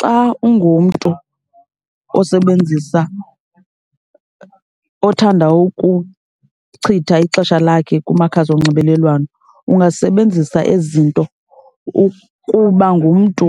Xa ungumntu osebenzisa, othanda ukuchitha ixesha lakhe kumakhasi onxibelelwano ungasebenzisa ezi zinto ukuba ngumntu